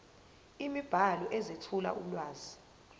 imibhalo ezethula ulwazi